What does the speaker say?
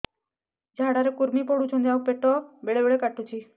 ଝାଡା ରେ କୁର୍ମି ପଡୁଛନ୍ତି ଆଉ ପେଟ ବେଳେ ବେଳେ କାଟୁଛି